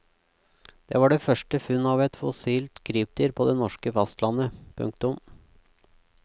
Dette var det første funn av et fossilt krypdyr på det norske fastlandet. punktum